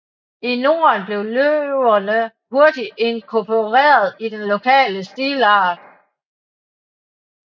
I Norden blev løverne hurtigt inkorporeret i den lokale stilart